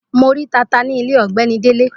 Mo rí tata ní ilé ọ̀gbẹ́ni Délé.